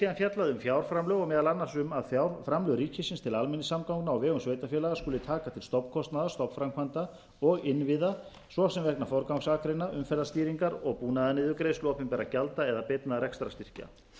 síðan fjallað um fjárframlög og meðal annars um að fjárframlög ríkisins til almenningssamgangna á vegum sveitarfélaga skuli taka til stofnkostnaðar stofnframkvæmda og innviða svo sem vegna forgangsakreina umferðarstýringar og búnaðar niðurgreiðslu opinberra gjalda eða beinna rekstrarstyrkja það er sem sagt